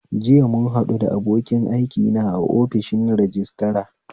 JIya muhaɗu da abokin aikina a ofishin rajistira